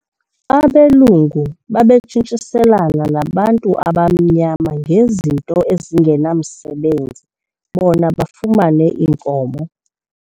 Abelungu babetshintshiselana nabantu abamnyama ngezinto ezingenamsebenzi bona bafumane iinkomo.